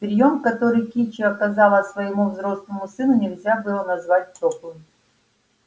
приём который кичи оказала своему взрослому сыну нельзя было назвать тёплым